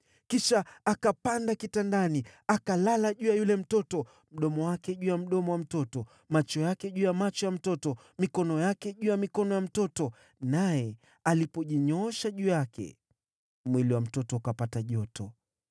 Kisha akapanda kitandani, akalala juu ya yule mtoto, mdomo wake juu ya mdomo wa mtoto, macho yake juu ya macho ya mtoto, mikono yake juu ya mikono ya mtoto. Naye alipojinyoosha juu yake, mwili wa mtoto ukapata joto.